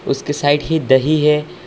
उसके साइड ही दही है।